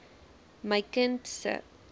my kind se